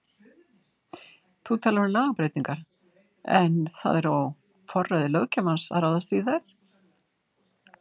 Þú talar um lagabreytingar en það er á forræði löggjafans að ráðast í þær?